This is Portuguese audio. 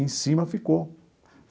Em cima ficou.